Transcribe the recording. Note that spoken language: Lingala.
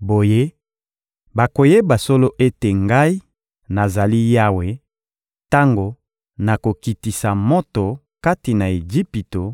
Boye, bakoyeba solo ete Ngai, nazali Yawe, tango nakokitisa moto kati na Ejipito